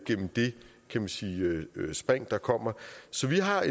det man kan sige spring der kommer så vi har